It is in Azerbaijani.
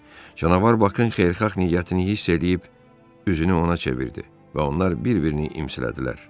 Canavar Baxın xeyirxah niyyətini hiss eləyib üzünü ona çevirdi və onlar bir-birini imsilədilər.